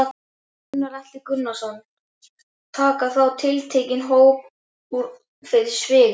Gunnar Atli Gunnarsson: Taka þá tiltekinn hóp út fyrir sviga?